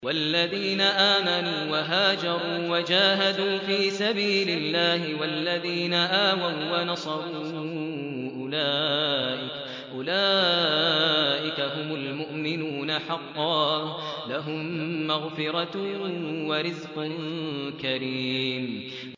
وَالَّذِينَ آمَنُوا وَهَاجَرُوا وَجَاهَدُوا فِي سَبِيلِ اللَّهِ وَالَّذِينَ آوَوا وَّنَصَرُوا أُولَٰئِكَ هُمُ الْمُؤْمِنُونَ حَقًّا ۚ لَّهُم مَّغْفِرَةٌ وَرِزْقٌ كَرِيمٌ